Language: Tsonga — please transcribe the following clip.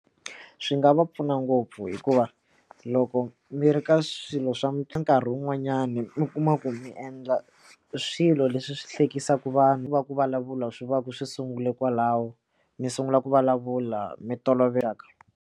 Swi nga va pfuna ngopfu hikuva loko mi ri ka swilo swo karhi wun'wanyani mi kuma ku mi endla swilo leswi swi hlekisa eka vanhu va ku vulavula swi va ku swi sungule kwalaho ni sungula ku vulavula mi toloveleka.